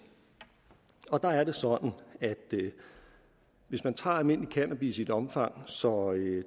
og der er det sådan at hvis man tager almindelig cannabis i et omfang så